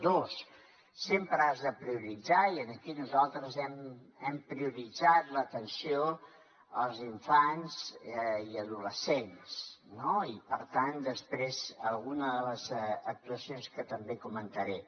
dos sempre has de prioritzar i aquí nosaltres hem prioritzat l’atenció als infants i adolescents no i per tant alguna de les actuacions que també comentaré